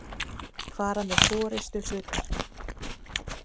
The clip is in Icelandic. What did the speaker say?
fara með forystuhlutverk.